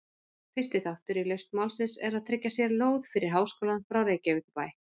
Fyrsti þáttur í lausn málsins er að tryggja sér lóð fyrir háskólann frá Reykjavíkurbæ.